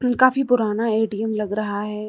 काफी पुराना ए_टी_एम लग रहा है।